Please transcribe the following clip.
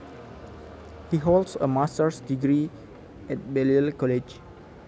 He holds a masters degree at Balliol College